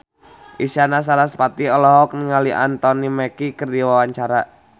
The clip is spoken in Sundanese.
Isyana Sarasvati olohok ningali Anthony Mackie keur diwawancara